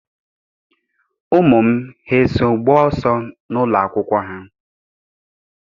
Ụmụ m eso gbaa ọsọ n'ụlọ akwụkwọ ha?